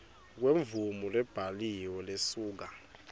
kwemvumo lebhaliwe lesuka